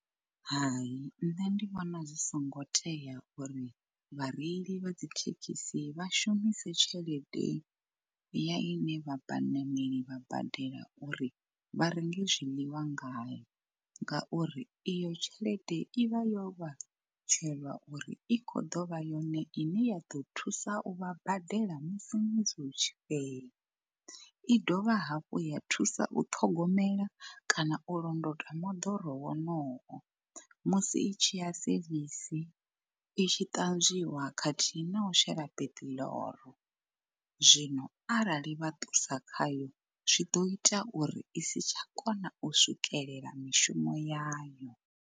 Hai nṋe ndi vhona zwi songo tea uri vhareili vha dzithekhisi vha shumise tshelede ya ine vhaṋaneli vha badela uri vharengi zwiḽiwa ngayo, ngauri iyo tshelede i vha yo vha tshelwa uri i kho ḓo vha yone ine ya ḓo thusa u vha badela musi ṅwedzi utshi fhela. I dovha hafhu ya thusa u ṱhogomela kana u londota moḓoro wonowo musi i tshi ya sevisi, i tshi ṱanzwiwa khathihi na u shela peṱiḽoro zwino arali vha ṱusa khayo zwi ḓo ita uri i si tsha kona u swikelela mishumo yayo.